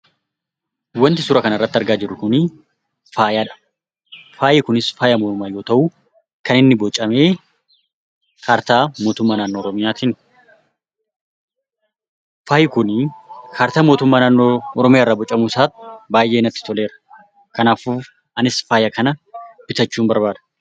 Wanti suuraa kanarratti argaa jirru kun faayadha. Faayi kunis faaya mormaa yoo ta'u, kan inni bocame kaartaa mootummaa naannoo oromoyaatiini. Faayi kun kaartaa mootummaa naannoo oromiyaarraa bocamuu isaa baay'ee natti toleera. Anis faaya kana bitachuun barbaada.